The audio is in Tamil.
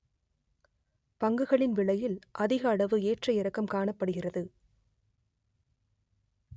பங்குகளின் விலைகளில் அதிகளவு ஏற்ற இறக்கம் காணப்படுகிறது